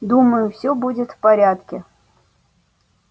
думаю всё будет в порядке